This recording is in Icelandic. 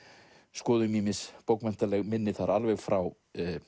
skoðum ýmis bókmenntaleg minni þar alveg frá